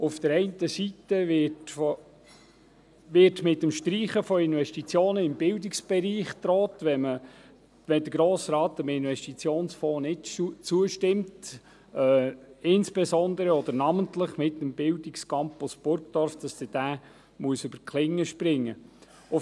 Auf der einen Seite wird mit der Streichung von Investitionen im Bildungsbereich gedroht, sollte der Grosse Rat dem Investitionsfonds nicht zustimmen, insbesondere oder namentlich mit dem Bildungscampus Burgdorf, der über die Klinge springen müsste.